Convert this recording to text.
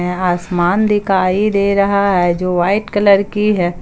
यहां आसमान दिखाई दे रहा है जो वाइट कलर की है।